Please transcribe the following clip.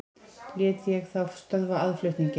Lét ég þá stöðva aðflutninginn.